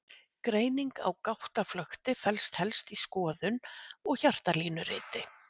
greining á gáttaflökti felst helst í skoðun og hjartalínuriti